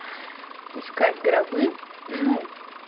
искать гробы ну